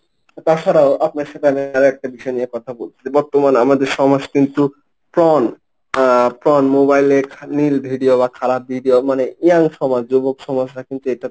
তাছাড়াও আপনার সাথে আমি আর একটা বিষয় নিয়ে কথা বলতেছি বর্তমান আমাদের সমাজ কিন্তু porn আহ porn mobile এ খারাপ নীল video বা খারাপ video মানে young সমাজ যুবক সমাজরা এটাতে।